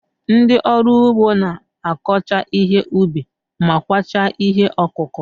Ndị ọrụ ugbo na-akọcha ihe ubi ma kwachaa ihe ọkụkụ.